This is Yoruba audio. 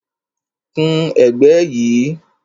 Kun ẹ̀gbẹ́ yìí